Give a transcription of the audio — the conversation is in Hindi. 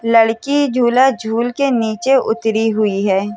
लड़की झूला झूलके नीचे उत्तरी हुई है।